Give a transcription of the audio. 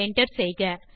ஐ Enter செய்க